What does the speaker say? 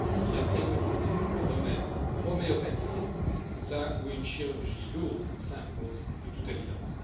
Il a préconisé des remèdes homéopathiques là où une chirurgie lourde s'impose de toute évidence.